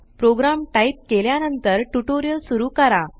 programme type केल्या नंतर tutorial सुरू करा